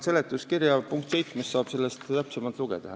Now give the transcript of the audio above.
Seletuskirja punktist 7 saab selle kohta täpsemalt lugeda.